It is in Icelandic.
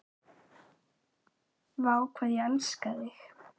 Vá, hvað ég elskaði þig.